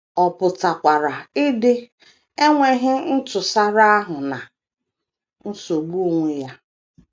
Ọ pụtakwara idi enweghị ntụsara ahụ na nsogbu onwe onye.